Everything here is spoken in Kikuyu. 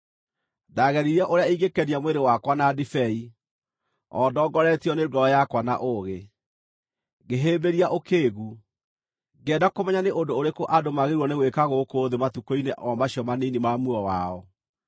Ndaageririe ũrĩa ingĩkenia mwĩrĩ wakwa na ndibei, o ndongoretio nĩ ngoro yakwa na ũũgĩ, ngĩhĩmbĩria ũkĩĩgu, ngĩenda kũmenya nĩ ũndũ ũrĩkũ andũ maagĩrĩirwo nĩ gwĩka gũkũ thĩ matukũ-inĩ o macio manini ma muoyo wao.